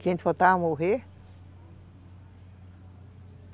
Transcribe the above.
Que a gente faltava morrer